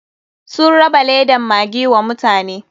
Sun raba ledan maggi wa mutane.